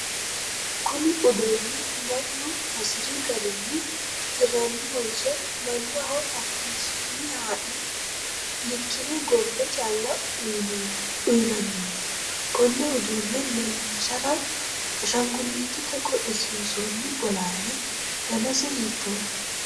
kuni uduunnu mannu hasiri garinni hirrannihonso, mannaho hakkishinni haa'ne likkine gombe calla uyiinanniho? konne uduunne leelinshara ashaanguliitete qodhisiinsoonni bolaale danase hiittoote?